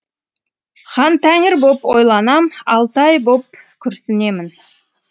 хантәңір боп ойланам алтай боп күрсінемін